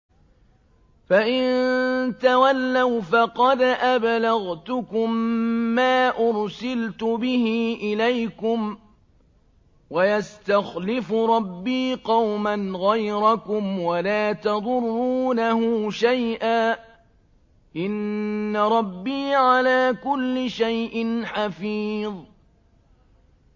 فَإِن تَوَلَّوْا فَقَدْ أَبْلَغْتُكُم مَّا أُرْسِلْتُ بِهِ إِلَيْكُمْ ۚ وَيَسْتَخْلِفُ رَبِّي قَوْمًا غَيْرَكُمْ وَلَا تَضُرُّونَهُ شَيْئًا ۚ إِنَّ رَبِّي عَلَىٰ كُلِّ شَيْءٍ حَفِيظٌ